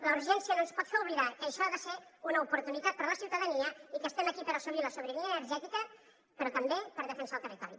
la urgència no ens pot fer oblidar que això ha de ser una oportunitat per la ciutadania i que estem aquí per assolir la sobirania energètica però també per defensar el territori